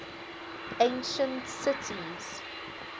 ancient cities